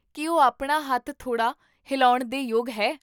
ਕੀ ਉਹ ਆਪਣਾ ਹੱਥ ਥੋੜਾ ਹਿਲਾਉਣ ਦੇ ਯੋਗ ਹੈ?